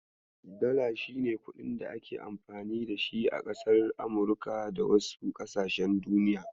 Dollar shine kuɗin da ake amfani da shi a kasar Amurika da wasu ƙasashen duniya.